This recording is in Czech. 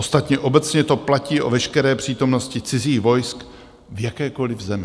Ostatně obecně to platí o veškeré přítomnosti cizích vojsk v jakékoliv zemi.